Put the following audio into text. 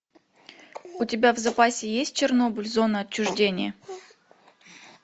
у тебя в запасе есть чернобыль зона отчуждения